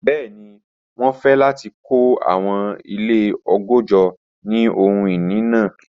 Bẹẹni, wọn fẹ lati kọ awọn ile ọgọ́jọ ni ohun-ini naa.